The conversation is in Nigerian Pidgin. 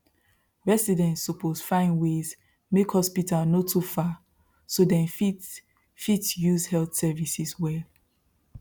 residents suppose find ways make hospital no too far so dem fit fit use health services well